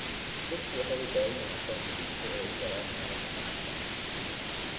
Dadku waxay u baahan yihiin aqoonsi si ay u galaan meelaha caamka ah.